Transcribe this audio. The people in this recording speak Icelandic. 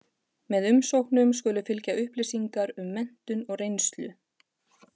Með umsóknum skulu fylgja upplýsingar um menntun og reynslu.